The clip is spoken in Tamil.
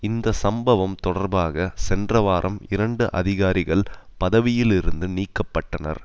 இந்த சம்பவம் தொடர்பாக சென்ற வாரம் இரண்டு அதிகாரிகள் பதவியிலிருந்து நீக்க பட்டனர்